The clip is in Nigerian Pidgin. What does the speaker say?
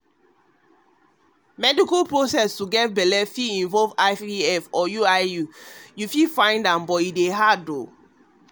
meical process to get belle fit involve ivf and iuiif you dey find am um hard to get belle.